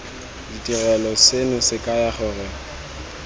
ditirelo seno se kaya gore